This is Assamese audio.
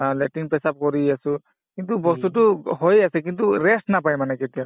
অ, latrine পেচাব কৰিয়ে আছো কিন্তু বস্তুতো হৈয়ে আছে কিন্তু rest নাপাই মানে কেতিয়াও